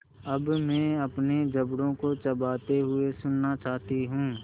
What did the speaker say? अब मैं अपने जबड़ों को चबाते हुए सुनना चाहती हूँ